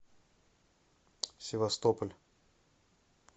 севастополь